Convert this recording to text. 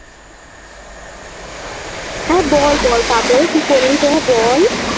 হ্যাঁ বল বল তারপরে কি করলি তোরা বল